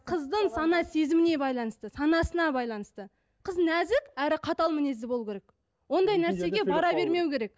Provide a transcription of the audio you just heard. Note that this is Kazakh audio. қыздың сана сезіміне байланысты санасына байланысты қыз нәзік әрі қатал мінезді болу керек ондай нәрсеге бара бермеу керек